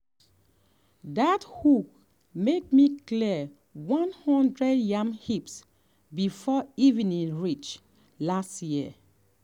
dat um hoe make me clear um one hundred yam heaps before evening reach last year.